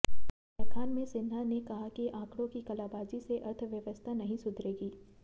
व्याख्यान में सिन्हा ने कहा कि आंकड़ों की कलाबाजी से अर्थव्यवस्था नहीं सुधरेगी